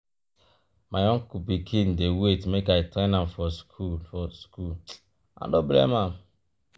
my uncle pikin dey wait make i train am for skool for skool i no blame am.